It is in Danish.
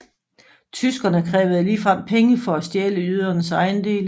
Tyskerne krævede ligefrem penge for at stjæle jødernes ejendele